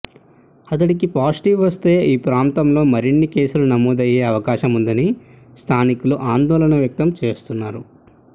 అతడికి పాజిటివ్ వస్తే ఈ ప్రాంతంలో మరిన్ని కేసుల నమోదయ్యే అవకాశముందని స్థానికులు ఆందోళన వ్యక్తం చేస్తున్నారు